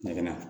Ɲagami